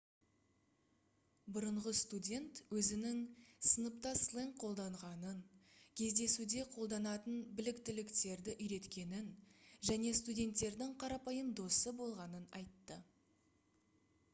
бұрынғы студент өзінің сыныпта сленг қолданғанын кездесуде қолданатын біліктіліктерді үйреткенін және студенттердің қарапайым досы болғанын айтты